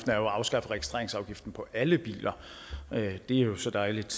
at afskaffe registreringsafgiften på alle biler det er jo så dejligt